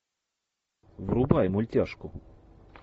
врубай мультяшку